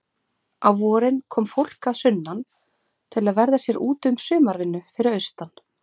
Á vorin kom fólk að sunnan til að verða sér úti um sumarvinnu fyrir austan.